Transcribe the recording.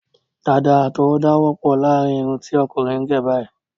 Dàda àtọwọda wọpọ láàrin irun ti ọkùnrin gé báyìí